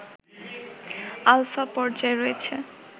alpha পর্যায়ে রয়েছে